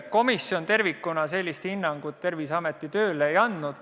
Komisjon tervikuna sellist hinnangut Terviseameti tööle ei andnud.